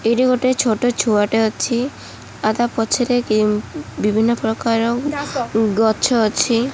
ଏଇଠି ଗୋଟେ ଛୋଟ ଛୁଆଟେ ଅଛି ଆଉ ତାପଛରେ ବିଭିନ୍ନ ପ୍ରକାର ଗଛ ଅଛି।